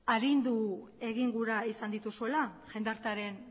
agindu egin gura izan dituzuela jendartearen